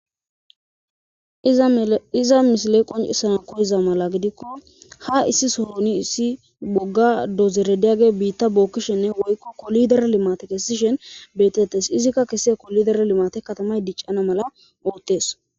Iza misile qoncisa koyiza mala gidikko ha issi sohoni issi bogga dozerediage biitta bookkishenne woykko kolidere limate kessishen beetettes izikka kese kolidere limate katamay diccana mala oottees.